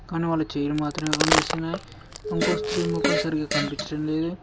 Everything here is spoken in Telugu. కాని వాళ్ళ చెయిలు మాత్రమే కనిపిస్తున్నాయ్ ఇంకో స్త్రీ మొఖం సరిగా కనిపిచటం లేదు.